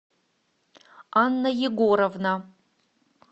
анна егоровна